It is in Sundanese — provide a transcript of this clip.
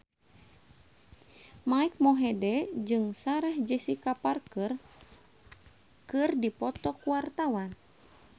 Mike Mohede jeung Sarah Jessica Parker keur dipoto ku wartawan